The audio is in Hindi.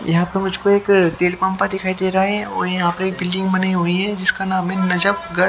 यहां पर मुझको एक तेल पंपा दिखाई दे रहा है और यहां पर एक बिल्डिंग बनी हुई है जिसका नाम है नजप गढ़--